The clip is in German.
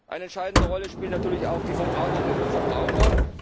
Eine entscheidende Rolle spielen natürlich auch die Verbraucherinnen und Verbraucher.